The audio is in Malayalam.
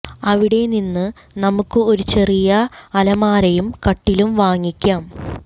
അവിടെ നിന്ന് നമുക്ക് ഒരു ചെറിയ അലമാരയും കട്ടിലും വാങ്ങിക്കാം